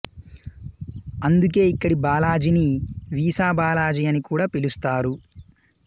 అందుకే ఇక్కడి బాలాజిని వీసా బాలాజీ అని కూడా పిలుస్తారు